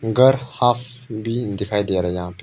घर हॉफ भी दिखाई दे रहा है यहां पे।